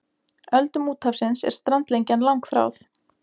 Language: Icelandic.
Öldum úthafsins er strandlengjan langþráð.